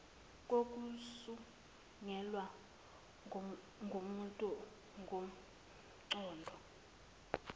kokusungulwe ngumuntu ngomqondo